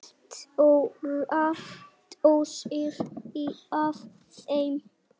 Stórar dósir af þeim.